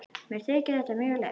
Mér þykir þetta mjög leitt.